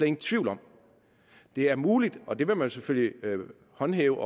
ingen tvivl om det er muligt og det vil nogle selvfølgelig håndhæve